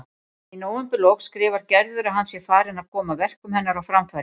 En í nóvemberlok skrifar Gerður að hann sé farinn að koma verkum hennar á framfæri.